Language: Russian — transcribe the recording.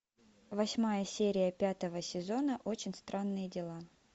восьмая серия пятого сезона очень странные дела